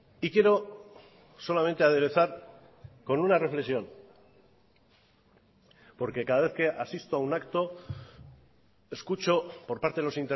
y quiero solamente aderezar con una reflexión porque cada vez que asisto a un acto escucho por parte de los